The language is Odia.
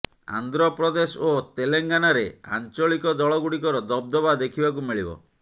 ଆନ୍ଧ୍ର ପ୍ରଦେଶ ଓ ତେଲେଙ୍ଗାନାରେ ଆଞ୍ଚଳିକ ଦଳଗୁଡ଼ିକର ଦବଦବା ଦେଖିବାକୁ ମିଳିବ